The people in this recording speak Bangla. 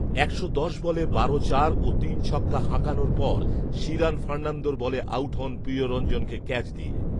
একশো দশ বলে বারো চার ও তিন ছক্কা হাঁকানোর পর শিরান ফার্নান্দোর বলে আউট হন প্রিয়ঞ্জনকে ক্যাচ দিয়ে